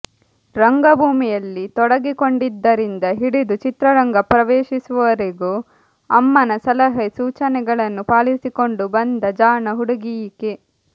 ರಂಗಭೂಮಿಯಲ್ಲಿ ತೊಡಗಿಕೊಂಡಿದ್ದರಿಂದ ಹಿಡಿದು ಚಿತ್ರರಂಗ ಪ್ರವೇಶಿಸುವವರೆಗೂ ಅಮ್ಮನ ಸಲಹೆ ಸೂಚನೆಗಳನ್ನು ಪಾಲಿಸಿಕೊಂಡು ಬಂದ ಜಾಣ ಹುಡುಗಿಯೀಕೆ